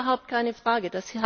Das ist überhaupt keine Frage.